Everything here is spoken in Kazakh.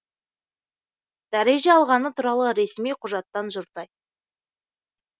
дәреже алғаны туралы ресми құжаттан жұрдай